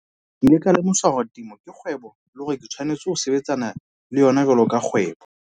Ke ile ka lemoswa hore temo ke kgwebo le hore ke tshwanetse ho sebetsana le yona jwalo ka kgwebo.